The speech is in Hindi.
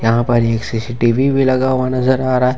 यहां पर ही एक सी_सी_टी_वी भी लगा हुआ नजर आ रहा है।